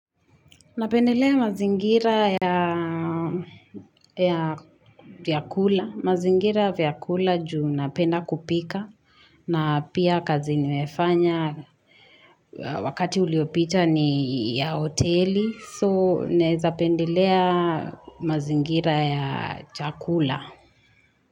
Napendelea mazingira ya vyakula. Mazingira ya vyakula juu napenda kupika. Na pia kazi nimefanya wakati uliopita ni ya hoteli. So, naeza pendelea mazingira ya chakula.